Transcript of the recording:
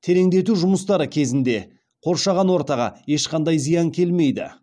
тереңдету жұмыстары кезінде қоршаған ортаға ешқандай зиян келмейді